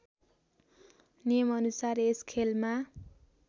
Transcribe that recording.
नियमअनुसार यस खेलमा